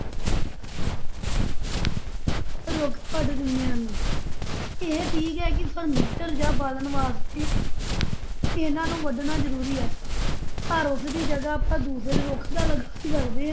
ਰੁੱਖ ਕੱਟ ਦਿੰਦੇ ਹਨ, ਇਹ ਠੀਕ ਹੈ ਕਿ furniture ਜਾਂ ਬਾਲਣ ਵਾਸਤੇ ਇਹਨਾਂ ਨੂੰ ਵੱਢਣਾ ਜ਼ਰੂਰੀ ਹੈ ਪਰ ਉਸ ਦੀ ਜਗ੍ਹਾ ਆਪਾ ਦੂਸਰੇ ਰੁੱਖ ਤਾਂ ਲਗਾ ਹੀ ਸਕਦੇ,